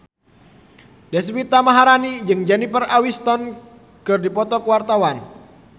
Deswita Maharani jeung Jennifer Aniston keur dipoto ku wartawan